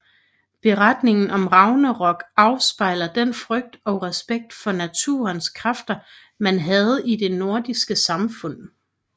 Beretningen om Ragnarok afspejler den frygt og respekt for naturens kræfter man havde i det nordiske samfund